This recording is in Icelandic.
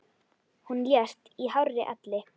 Hún lést í hárri elli.